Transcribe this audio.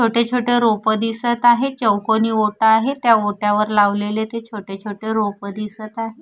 छोटे छोटे रोपं दिसत आहे चौकोनी ओटा आहे त्या ओट्यावर लावलेले ते छोटे छोटे रोपं दिसत आहे.